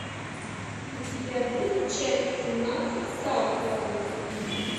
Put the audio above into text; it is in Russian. у тебя будет часть семнадцать саутленд